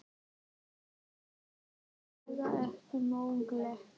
En það var vissulega ekki mögulegt.